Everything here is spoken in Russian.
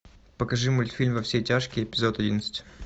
покажи мультфильм во все тяжкие эпизод одиннадцать